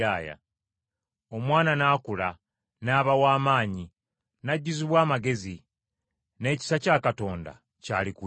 Omwana n’akula, n’aba w’amaanyi, n’ajjuzibwa amagezi n’ekisa kya Katonda kyali ku ye.